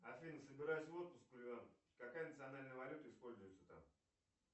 афина собираюсь в отпуск какая национальная валюта используется там